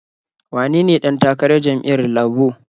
Wanene ɗan takarar jam'iyyar Labo?